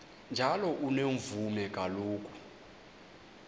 njalo unomvume kuloko